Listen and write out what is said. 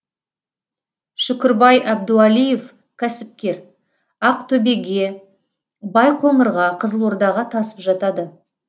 шүкірбай әбдуалиев кәсіпкер ақтөбеге байқоңырға қызылордаға тасып жатады